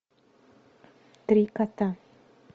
три кота